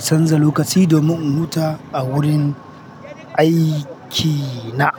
canza lokaci domin in huta a wurin aikina.